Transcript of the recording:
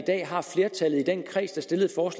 stedet for